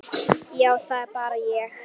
Já, það er bara ég.